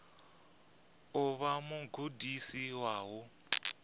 u vha mugudisi wa u